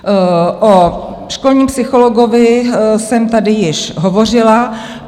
O školním psychologovi jsem tady již hovořila.